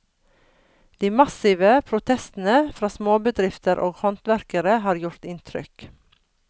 De massive protestene fra småbedrifter og håndverkere har gjort inntrykk.